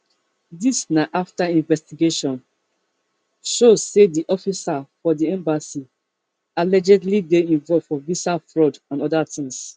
dis na afta investigation show say di it officer for di embassy allegedly dey involved for visa fraud and oda tins